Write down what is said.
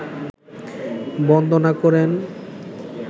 বন্দনা করেন